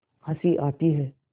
हँसी आती है